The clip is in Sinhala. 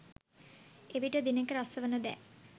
එවිට දිනෙක රස වන දෑ